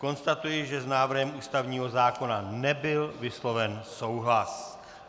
Konstatuji, že s návrhem ústavního zákona nebyl vysloven souhlas.